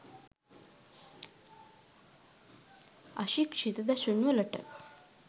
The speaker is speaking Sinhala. අශික්ෂිත දසුන් වලට